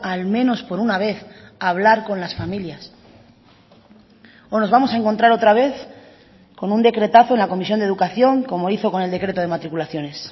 al menos por una vez hablar con las familias o nos vamos a encontrar otra vez con un decretazo en la comisión de educación como hizo con el decreto de matriculaciones